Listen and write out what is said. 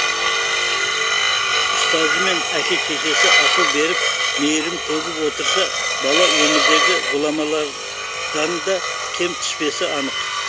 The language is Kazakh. ұстазы мен әке шешесі ақыл беріп мейірім төгіп отырса бала өмірдегі ғұламалар данда кем түспесі анық